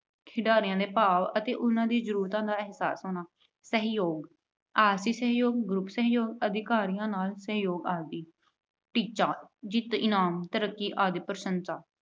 ਖਿਡਾਰੀਆਂ ਦੇ ਭਾਵ ਅਤੇ ਉਹਨਾਂ ਦੀਆਂ ਜਰੂਰਤਾਂ ਦਾ ਅਹਿਸਾਸ ਹੋਣਾ। ਸਹਿਯੋਗ- ਆਰਥਿਕ ਸਹਿਯੋਗ, group ਸਹਿਯੋਗ, ਅਧਿਕਾਰੀਆਂ ਨਾਲ ਸਹਿਯੋਗ ਆਦਿ। ਟੀਚਾ- ਜਿੱਤ, ਇਨਾਮ, ਤਰੱਕੀ ਆਦਿ ਪ੍ਰਸ਼ੰਸਾ।